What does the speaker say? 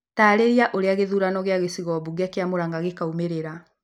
taarĩrie ũrĩa gĩthurano ya gicigo bunge kia Muranga gĩkaumirira